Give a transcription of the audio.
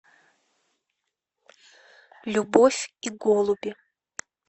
любовь и голуби